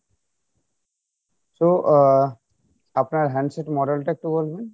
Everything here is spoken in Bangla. so আহ আপনার handset model টা একটু বলবেন